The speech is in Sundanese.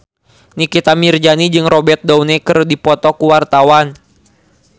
Nikita Mirzani jeung Robert Downey keur dipoto ku wartawan